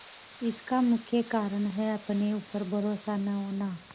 इसका मुख्य कारण है अपने ऊपर भरोसा न होना